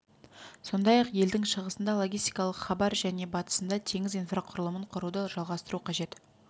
сондай-ақ елдің шығысында логистикалық хабар және батысында теңіз инфрақұрылымын құруды жалғастыру қажет